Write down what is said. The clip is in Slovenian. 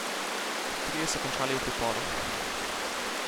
Trije so končali v priporu.